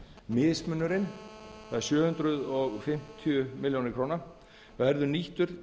mismunurinn það eru sjö hundruð fimmtíu milljónir króna verður nýttur